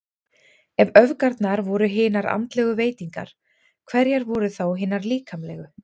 Ef öfgarnar voru hinar andlegu veitingar, hverjar voru þá hinar líkamlegu?